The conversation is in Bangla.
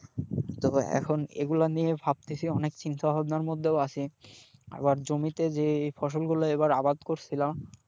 তবে এখন এগুলা নিয়ে ভাবতেছি অনেক চিন্তা ভাবনার মধ্যেও আছি আবার জমিতে যে ফসলগুলো এবারে আবাদ করছিলাম,